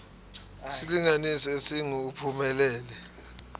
isilinganiso esingu uphumelele